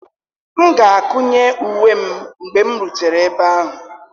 M ga-akụnye uwe m mgbe m rutere ebe ahụ.